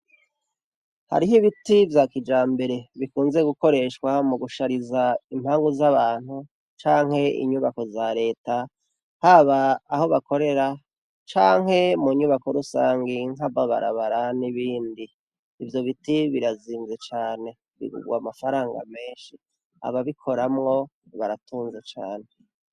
Hariho ibiti vya kijambere bikunze gukoreshwa mu gushariza impangu z'abantu canke inyubako za leta, haba aho bakorera canke mu nyubako rusangi nk'ababarabara n'ibindi. Ivyo biti birazimvye cane bigugwa amafaranga menshi. Ababikoramwo baratunze cane.